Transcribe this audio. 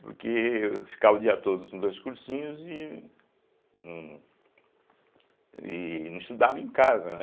Porque eu ficava o dia todo nos dois cursinhos e não e não estudava em casa, né.